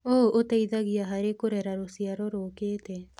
ũũ ũteithagia harĩ kũrera rũciaro rũkĩte.